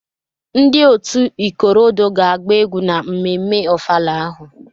Ndị otu ikorodoo ga-agba egwu na mmemme Ofala ahụ.